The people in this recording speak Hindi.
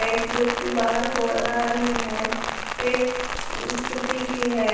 व्यक्ति बाहर को आ रहे है एक स्कूटी भी है।